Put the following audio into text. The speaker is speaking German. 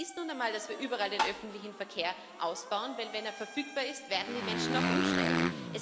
Und das ist nun einmal, dass wir überall den öffentlichen Verkehr ausbauen, denn wenn er verfügbar ist, werden die Menschen auch umsteigen.